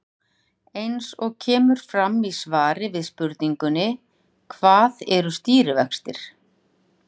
Eins og kemur fram í svari við spurningunni Hvað eru stýrivextir?